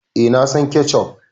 E, na son ketchup.